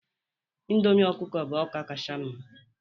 Indomi ọkụkọ bụ ọka kacha mma